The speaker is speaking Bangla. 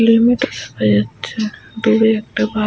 হেলমেট -ও দেখা যাচ্ছে দূরে একটা বাইক ।